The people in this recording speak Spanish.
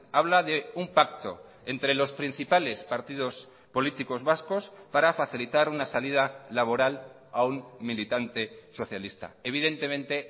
habla de un pacto entre los principales partidos políticos vascos para facilitar una salida laboral a un militante socialista evidentemente